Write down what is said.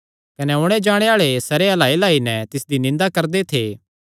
कने ओणे जाणे आल़े सिरे हिलाईहिलाई नैं तिसदी निंदा करदे थे